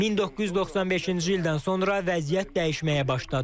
1995-ci ildən sonra vəziyyət dəyişməyə başladı.